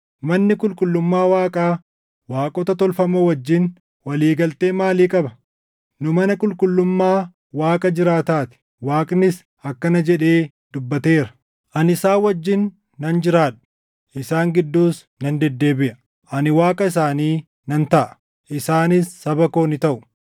Manni qulqullummaa Waaqaa waaqota tolfamoo wajjin walii galtee maalii qaba? Nu mana qulqullummaa Waaqa jiraataa ti. Waaqnis akkana jedhee dubbateera; “Ani isaan wajjin nan jiraadha; isaan gidduus nan deddeebiʼa. Ani Waaqa isaanii nan taʼa; isaanis saba koo ni taʼu.” + 6:16 \+xt Lew 26:12; Erm 32:38; His 37:27\+xt*